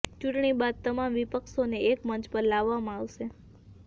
ચૂંટણી બાદ તમામ વિપક્ષોને એક મંચ પર લાવવામાં આવશે